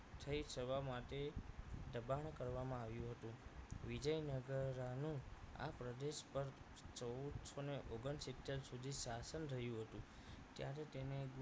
થઈ જવા માટે દબાણ કરવામાં આવ્યું હતું વિજયનગરાનું આ પ્રદેશ પર ચૌદસો ને ઓગણસિત્તેર સુધી શાસન રહ્યું હતું ત્યારે તેને